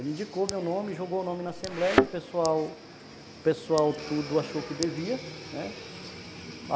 Ele indicou o meu nome, jogou o nome na Assembleia, o pessoal, o pessoal tudo achou que devia, né.